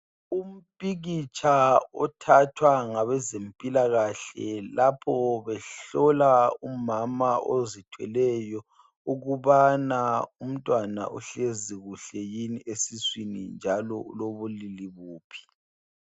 Umpikitsha othathwa ngabezempilakahle, lapho behlola umama ozithweleyo, ukubana umntwana uhlezi kuhle yini esiswini, njalo ulobulili buphi.